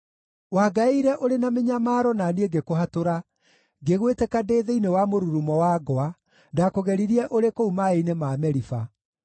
Wangaĩire ũrĩ na mĩnyamaro na niĩ ngĩkũhatũra, ngĩgwĩtĩka ndĩ thĩinĩ wa mũrurumo wa ngwa; ndakũgeririe ũrĩ kũu maaĩ-inĩ ma Meriba.